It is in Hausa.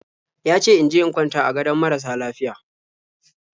Ya ce in je in kwanta a gadon marasa lafiya.